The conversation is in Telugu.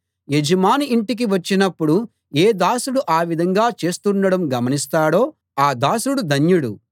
యజమాని ఇంటికి వచ్చినప్పుడు ఏ దాసుడు ఆ విధంగా చేస్తుండడం గమనిస్తాడో ఆ దాసుడు ధన్యుడు